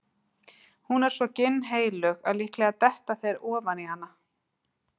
Hún er svo ginnheilög að líklega detta þeir ofan í hana.